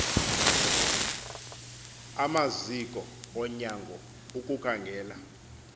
amaziko onyango ukukhangela